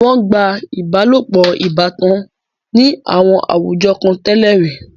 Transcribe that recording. Wọ́n gba ìbálopọ̀ ìbátan ní àwọn àwùjọ kan tẹ́lẹ̀ rí.